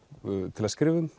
til að skrifa um